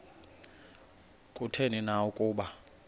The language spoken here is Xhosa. kutheni na ukuba